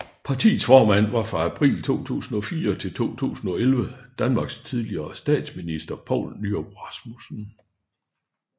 Partiets formand var fra april 2004 til 2011 Danmarks tidligere statsminister Poul Nyrup Rasmussen